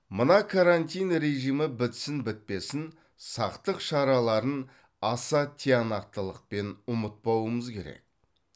мына карантин режимі бітсін бітпесін сақтық шараларын аса тиянақтылықпен ұмытпауымыз керек